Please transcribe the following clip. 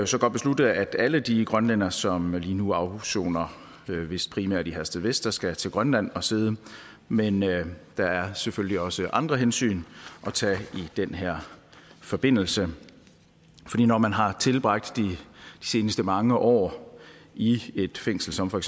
så godt beslutte at alle de grønlændere som lige nu afsoner vist primært i herstedvester skal til grønland at sidde men der er selvfølgelig også andre hensyn at tage i den her forbindelse fordi når man har tilbragt de seneste mange år i et fængsel som for